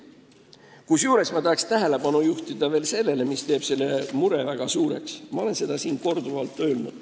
Kusjuures ma tahan veel juhtida tähelepanu sellele, mis teeb selle mure väga suureks ja mida ma olen siin ka korduvalt öelnud.